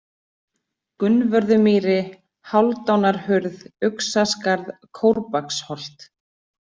Gunnuvörðumýri, Hálfdanarhurð, Uxaskarð, Kórbaksholt